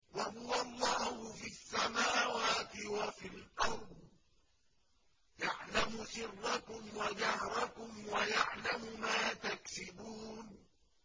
وَهُوَ اللَّهُ فِي السَّمَاوَاتِ وَفِي الْأَرْضِ ۖ يَعْلَمُ سِرَّكُمْ وَجَهْرَكُمْ وَيَعْلَمُ مَا تَكْسِبُونَ